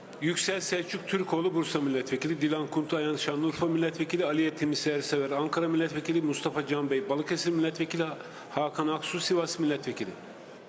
Yüksəl Səlcuq Türkoğlu Bursa millət vəkili, Dilan Kunt Şanlıurfa millət vəkili, Aliyə Timuçin Sersever Ankara millət vəkili, Mustafa Can bəy Balıkesir millət vəkili, Hakan Aksu Sivas millət vəkili.